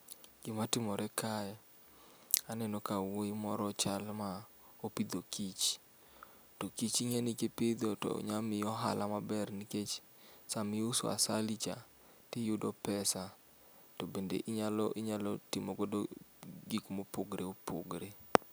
Gima timore kae aneno ka wuoyi moro chalo ma opidho kich to kich ing'e ni ka ipidho to inyalo yudo ohala maber nikech sama iuso asali cha to iyudo pesa to bende inyalo inyalo timo godo gik ma opogore opogore.